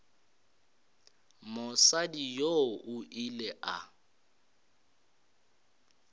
mosadi yoo o ile a